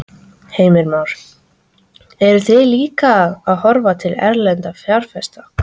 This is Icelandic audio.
Heimir Már: Eruð þið að horfa líka til erlendra fjárfesta?